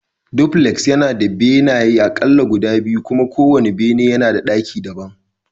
Dupuleks yana da aƙalla benaye biyu kuma kowane bene yana da ɗaki daban